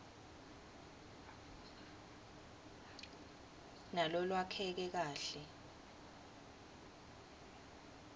nalolwakheke kahle